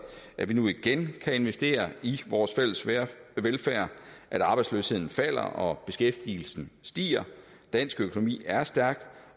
at vi nu igen kan investere i vores fælles velfærd at arbejdsløsheden falder og beskæftigelsen stiger dansk økonomi er stærk